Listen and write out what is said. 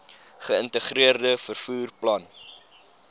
geïntegreerde vervoer plan